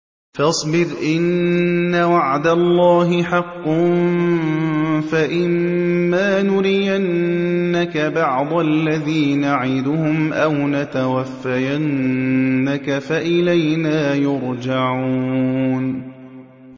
فَاصْبِرْ إِنَّ وَعْدَ اللَّهِ حَقٌّ ۚ فَإِمَّا نُرِيَنَّكَ بَعْضَ الَّذِي نَعِدُهُمْ أَوْ نَتَوَفَّيَنَّكَ فَإِلَيْنَا يُرْجَعُونَ